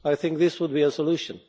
I think this would be a solution.